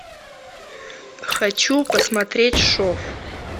хочу посмотреть шов